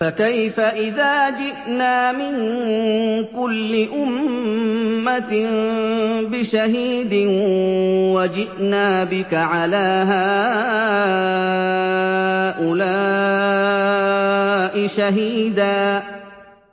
فَكَيْفَ إِذَا جِئْنَا مِن كُلِّ أُمَّةٍ بِشَهِيدٍ وَجِئْنَا بِكَ عَلَىٰ هَٰؤُلَاءِ شَهِيدًا